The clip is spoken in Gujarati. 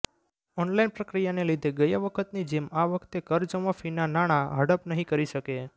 ઓનલાઇન પ્રક્રિયાને લીધે ગયા વખતની જેમ આ વખતે કરજમાફીના નાણાં હડપ નહીં કરી શકે